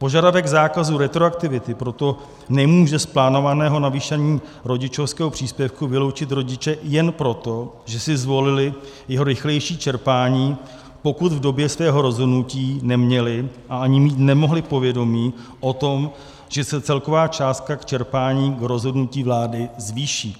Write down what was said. Požadavek zákazu retroaktivity proto nemůže z plánovaného navýšení rodičovského příspěvku vyloučit rodiče jen proto, že si zvolili jeho rychlejší čerpání, pokud v době svého rozhodnutí neměli, a ani mít nemohli, povědomí o tom, že se celková částka k čerpání rozhodnutím vlády zvýší.